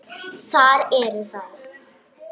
Það eru þeir.